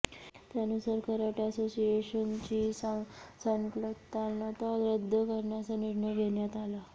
त्यानुसार कराटे असोसिएशनची संलग्नता रद्द करण्याचा निर्णय घेण्यात आला